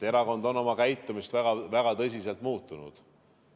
Erakond on oma käitumist väga tõsiselt muutnud.